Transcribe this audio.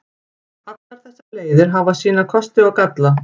Allar þessar leiðir hafa sína kosti og galla.